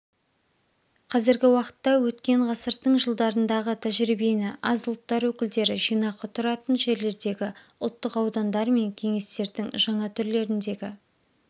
қазіргі уақытта өткен ғасырдың жылдарындағы тәжірибені аз ұлттар өкілдері жинақы тұратын жерлердегі ұлттық аудандар мен кеңестердің жаңа түрлеріндегі